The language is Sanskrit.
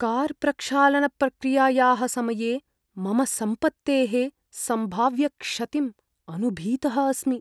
कार्प्रक्षालनप्रक्रियायाः समये मम सम्पत्तेः सम्भाव्यक्षतिम् अनु भीतः अस्मि।